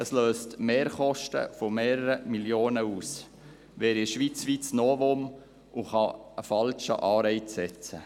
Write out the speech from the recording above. Sie löst Mehrkosten von mehreren Millionen aus, wäre ein schweizweites Novum und könnte einen falschen Anreiz setzen.